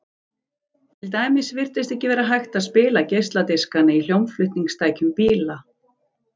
til dæmis virtist ekki vera hægt að spila geisladiskana í hljómflutningstækjum bíla